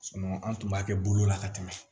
an tun b'a kɛ bolo la ka tɛmɛ